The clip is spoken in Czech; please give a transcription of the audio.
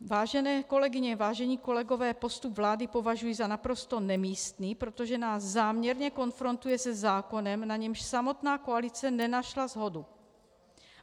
Vážené kolegyně, vážení kolegové, postup vlády považuji za naprosto nemístný, protože nás záměrně konfrontuje se zákonem, na němž samotná koalice nenašla shodu.